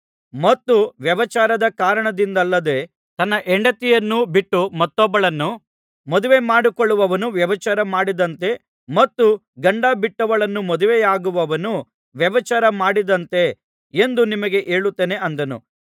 ಮತ್ತು ವ್ಯಭಿಚಾರದ ಕಾರಣದಿಂದಲ್ಲದೆ ತನ್ನ ಹೆಂಡತಿಯನ್ನು ಬಿಟ್ಟು ಮತ್ತೊಬ್ಬಳನ್ನು ಮದುವೆ ಮಾಡಿಕೊಳ್ಳುವವನು ವ್ಯಭಿಚಾರ ಮಾಡಿದಂತೆ ಮತ್ತು ಗಂಡ ಬಿಟ್ಟವಳನ್ನು ಮದುವೆಯಾಗುವವನು ವ್ಯಭಿಚಾರ ಮಾಡಿದಂತೆ ಎಂದು ನಿಮಗೆ ಹೇಳುತ್ತೇನೆ ಅಂದನು